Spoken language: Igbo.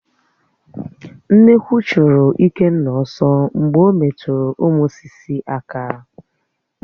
Nnekwu churu Ikenna ọ̀sọ̀ mgbe ọ metụrụ ụmụ sị́sị̀ aka